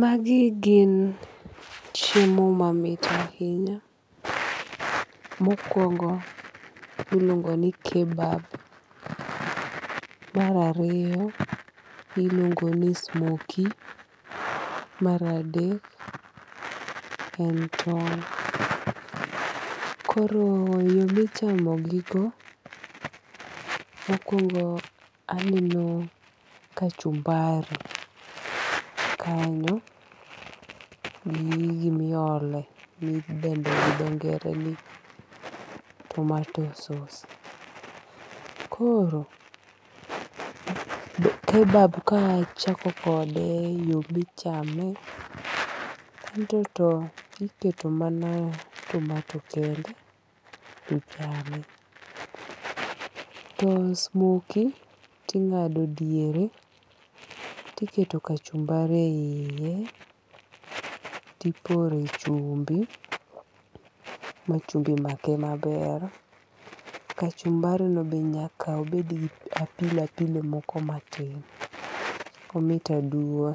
Magi gin chiemo mamit ahinya. Mokuongo iluongo ni kebab. Mar ariyo iluongo ni smokie. Mar adek en tong'. Koro yo michamo gigo mokuongo aneno kachumbari kanyo gi gimiole midendo gi dho ngere ni tomato sause. Koro kebab kachako kode yo michame, en to to iketo mana tomato kende tichame. To smokie ting'ado diere tiketo kachumbari e yie tipore chumbi ma chumbi make maber. Kachumbari no be nyaka obed gi apilo apilo moko matin. Omit aduwa.